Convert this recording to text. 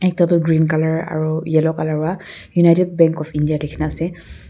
ekta toh green colour aru yellow colour pra United bank of India likhine ase.